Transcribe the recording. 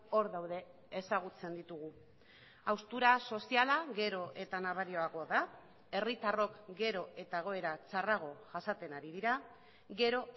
hor daude ezagutzen ditugu haustura soziala gero eta nabariagoa da herritarrok gero eta egoera txarrago jasaten ari dira gero